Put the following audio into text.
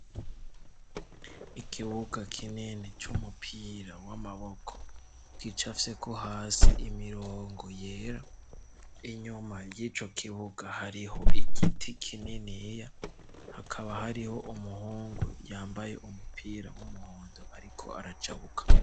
Ikibuga kinini c'umupira w'amaboko gicafyeko hasi imirongo yera. Inyuma y'ico kibuga, hariho igiti kininiya hakaba, hariho umuhungu yambaye umupira w'umuhondo ariko arajabuka.